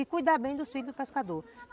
E cuidar bem dos filhos do pescador.